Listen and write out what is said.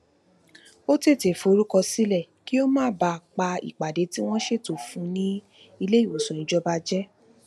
ó tètè forúkọ sílè kí ó má bàa pa ìpàdé tí wón ṣètò fún un ní iléìwòsàn ìjọba jẹ